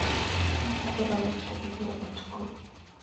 Njata ĩronekĩre ĩgũrũ ũtũkũ.